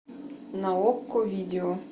на окко видео